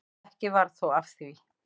Ekki varð þó af því.